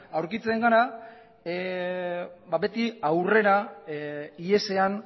aurkitzen gara beti aurrera ihesean